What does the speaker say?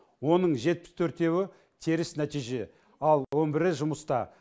оның жетпіс төртеуі теріс нәтиже ал он бірі жұмыста